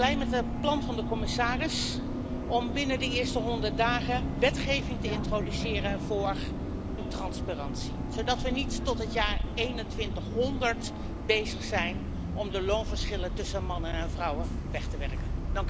Daarom ben ik blij met het plan van de commissaris om binnen de eerste honderd dagen wetgeving te introduceren voor loontransparantie, zodat we niet tot het jaar 2100 bezig zijn om de loonverschillen tussen mannen en vrouwen weg te werken.